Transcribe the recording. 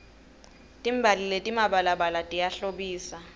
timbali letimabalabala tiyahlobisa